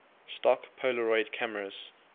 stock polaroid cameras